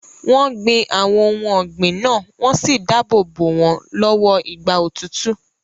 Wọ́n gbin àwọn ohun ọ̀gbìn náà wọ́n sì dáàbò bo wọn lọ́wọ́ ìgbà òtútù.